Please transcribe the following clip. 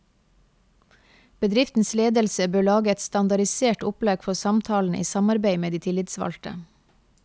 Bedriftens ledelse bør lage et standardisert opplegg for samtalene i samarbeid med de tillitsvalgte.